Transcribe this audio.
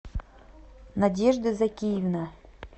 надежда закиевна